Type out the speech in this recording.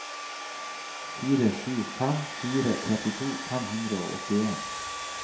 fire sju fem fire trettito fem hundre og åttien